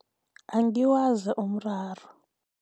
Angiwazi umraro.